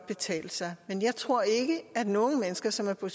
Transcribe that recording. betale sig men jeg tror ikke at nogen mennesker som er på